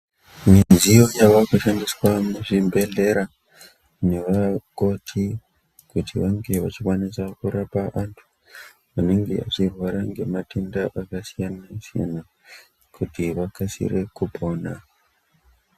Midziyo yave kushandiswa muzvibhedhlera navakoti kuti vange vachikwanise kurapa vantu vanenge vachirwara ngematenda akasiyana-siyana, kuti vakasire kupona.